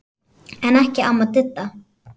En ekki amma Didda.